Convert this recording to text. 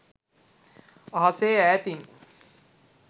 අහසේ ඈතින්